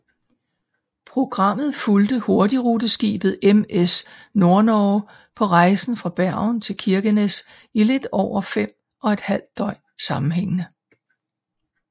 Programmet fulgte hurtigruteskibet MS Nordnorge på rejsen fra Bergen til Kirkenes i lidt over fem og et halvt døgn sammenhængende